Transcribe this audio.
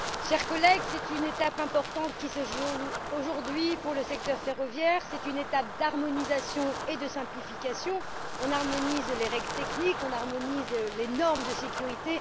Monsieur le Président, chers collègues, c'est une étape importante qui se joue aujourd'hui pour le secteur ferroviaire. C'est une étape d'harmonisation et de simplification on harmonise les règles techniques, on harmonise les normes de sécurité.